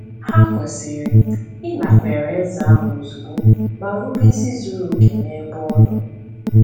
Ha kwesịrị ịnakwere Eze ahụ ozugbo ma rube isi zuru oke n’ebe ọ nọ.